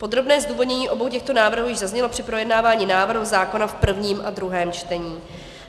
Podrobné zdůvodnění obou těchto návrhů již zaznělo při projednávání návrhu zákona v prvním a druhém čtení.